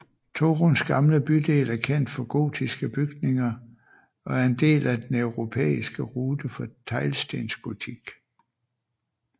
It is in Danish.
Toruns gamle bydel er kendt for gotiske bygninger og er en del af Den europæiske rute for teglstensgotik